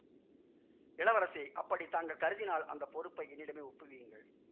இளவரசே அப்படி தாங்கள் கருதினால் அந்த பொறுப்பை என்னிடமே ஒப்புவியுங்கள்